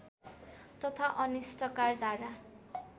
तथा अनिष्टकार धारा